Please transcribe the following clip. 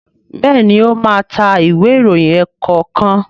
Béèni o má ta Ìwé ìròyìn ẹ̀ẹ̀kọ̀kan.